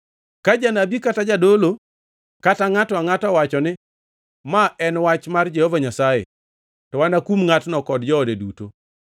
Ka janabi kata jadolo kata ngʼato angʼata owacho ni, ‘Ma en wach mar Jehova Nyasaye,’ to anakum ngʼatno kod joode duto.